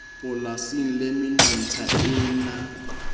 polasing le menontsha e na